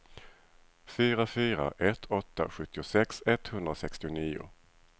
fyra fyra ett åtta sjuttiosex etthundrasextionio